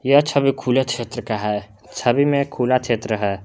ये छवि खुला क्षेत्र का है छवि में खुला क्षेत्र है।